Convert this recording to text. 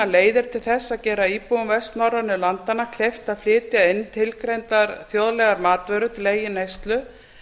leiðir til þess að gera íbúum vestnorrænu landanna kleift að flytja inn tilgreindar þjóðlegar matvörur til eigin neyslu